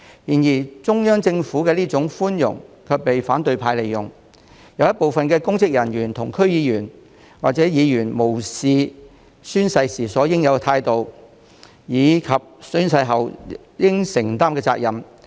然而，中央政府的寬容卻被反對派利用，有部分公職人員和區議員或議員無視宣誓時應有的態度及宣誓後應承擔的責任。